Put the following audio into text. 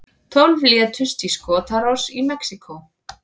Tólf létust í skotárás í Mexíkó